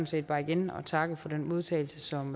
set bare igen at takke for den modtagelse som